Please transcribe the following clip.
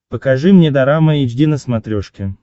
покажи мне дорама эйч ди на смотрешке